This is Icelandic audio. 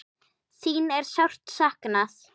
Þín er sárt saknað.